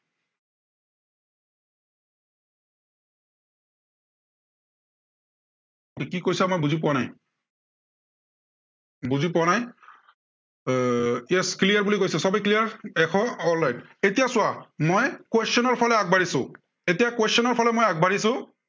কি কৈছা মই বুজি পোৱা নাই বুজি পোৱা নাই এৰ yes clear বুলি কৈছে, সৱেই clear এশ alright এতিয়া চোৱা মই question ৰ ফালে আগবাঢ়িছো। এতিয়া question ৰ ফালে মই আগবাঢ়িছো।